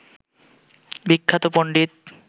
বিখ্যাত পন্ডিত